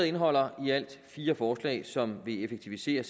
indeholder i alt fire forslag som vil effektivisere